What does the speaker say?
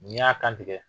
N'i y'a kan tigɛ